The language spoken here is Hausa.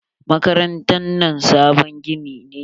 Makarantar nan sabon gini ne.